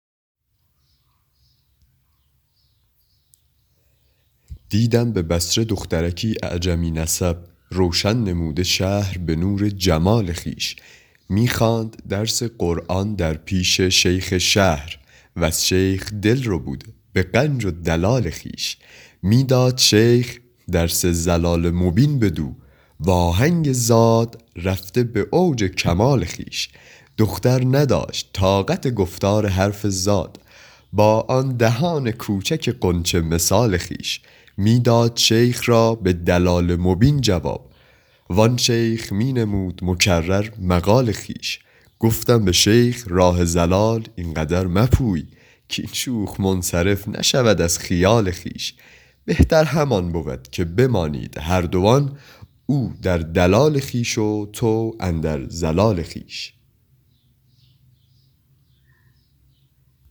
دیدم به بصره دخترکی اعجمی نسب روشن نموده شهر به نور جمال خویش می خواند درس قرآن در پیش شیخ شهر وز شیخ دل ربوده به غنج و دلال خویش می داد شیخ درس ضلال مبین بدو و آهنگ ضاد رفته به اوج کمال خویش دختر نداشت طاقت گفتار حرف ضاد با آن دهان کوچک غنچه مثال خویش می داد شیخ را به دلال مبین جواب وان شیخ می نمود مکرر مقال خویش گفتم به شیخ راه ضلال این قدر مپوی کاین شوخ منصرف نشود از خیال خویش بهتر همان بود که بمانید هر دوان او در دلال خویش و تو اندر ضلال خویش